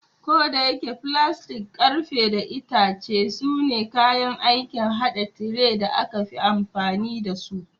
Kodayake, filastik, ƙarfe, da itace sune kayan aikin haɗa tire da aka fi amfani da su.